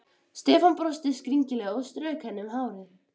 Stefán brosti skringilega og strauk henni um hárið.